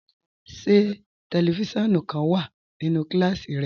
Ṣẹ tẹlífísiọ̀nù kan wà nínú kílásí rẹ?